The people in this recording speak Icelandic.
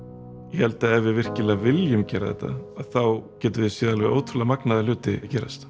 ég held að ef við virkilega viljum gera þetta þá getum við séð alveg ótrúlega magnaða hluti gerast